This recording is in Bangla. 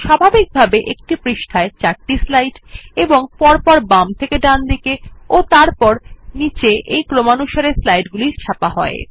স্বাভাবিকভাবে একটি পৃষ্ঠায় চারটি স্লাইড এবং পরপর বাম থেকে ডানদিকে ও তারপর নীচে এই ক্রমানুসারে স্লাইডগুলি ছাপা হয়